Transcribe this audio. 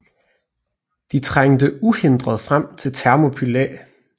De trængte uhindret frem til Thermopylæ